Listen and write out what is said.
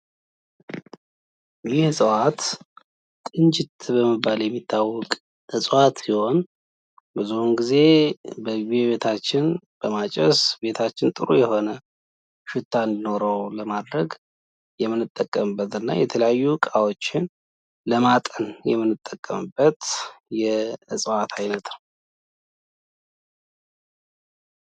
ይህ በምስሉ ላይ የምንመለከተው የእጽዋት አይነት ጽንጁት የሚባል የእጽዋት አይነት ሲሆን፤ ብዙ ጊዜ በቤታችን ውስጥ በማጨስ ቤታችን ጥሩ መአዛ እንዲኖረው ለማድረግና የተለያዩ እቃዎችን ለማጠን የምንጠቀምበት የእጽዋት አይነት ነው።